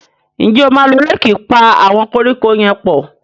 njé o ma ló Réèkì pá àwọn koríko yén pọ?